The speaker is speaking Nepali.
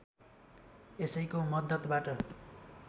यसैको मद्दतबाट